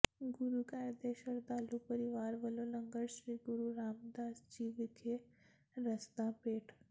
ਗੁਰੂ ਘਰ ਦੇ ਸ਼ਰਧਾਲੂ ਪਰਿਵਾਰ ਵੱਲੋਂ ਲੰਗਰ ਸ੍ਰੀ ਗੁਰੂ ਰਾਮਦਾਸ ਜੀ ਵਿਖੇ ਰਸਦਾਂ ਭੇਟ